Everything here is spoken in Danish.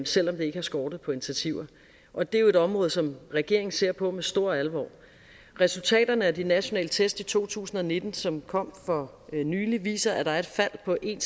selv om det ikke har skortet på initiativer og det er et område som regeringen ser på med stor alvor resultaterne af de nationale test i to tusind og nitten som kom for nylig viser at der er et fald på en